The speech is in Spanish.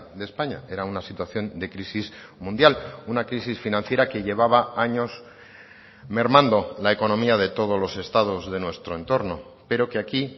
de españa era una situación de crisis mundial una crisis financiera que llevaba años mermando la economía de todos los estados de nuestro entorno pero que aquí